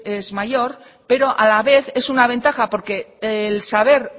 es mayor pero a la vez es una ventaja porque el saber